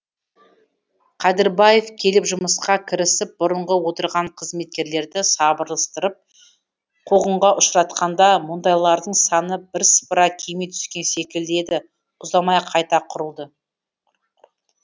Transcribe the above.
кәдірбаев келіп жұмысқа кірісіп бұрынғы отырған қызметкерлерді сапырылыстырып қуғынға ұшыратқанда мұндайлардың саны бірсыпыра кеми түскен секілді еді ұзамай қайта құралды